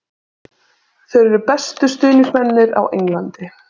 Þeir eru bestu stuðningsmennirnir á Englandi.